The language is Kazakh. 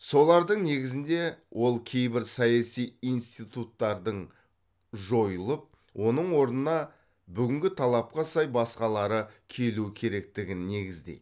солардың негізінде ол кейбір саяси институттардың жойылып оның орнына бүгінгі талапқа сай басқалары келу керектігін негіздейді